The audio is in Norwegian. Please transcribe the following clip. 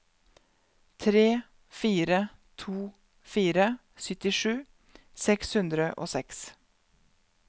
tre fire to fire syttisju seks hundre og seks